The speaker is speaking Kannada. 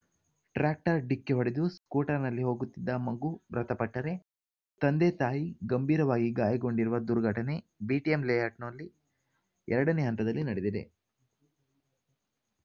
ಟ್ರ್ಯಾಕ್ಟರ್ ಡಿಕ್ಕಿಹೊಡೆದು ಸ್ಕೂಟರ್‌ನಲ್ಲಿ ಹೋಗುತ್ತಿದ್ದ ಮಗು ಮೃತಪಟ್ಟರೆ ತಂದೆ ತಾಯಿ ಗಂಭೀರವಾಗಿ ಗಾಯಗೊಂಡಿರುವ ದುರ್ಘಟನೆ ಬಿಟಿಎಂ ಲೇಔಟ್‌ನ ಎರಡನೇ ಹಂತದಲ್ಲಿ ನಡೆದಿದೆ